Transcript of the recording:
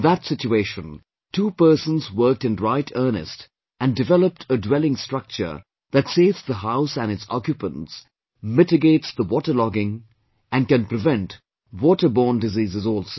In that situation, two persons worked in right earnest and developed a dwelling structure that saves the house and its occupants, mitigates the waterlogging and can prevent water borne diseases also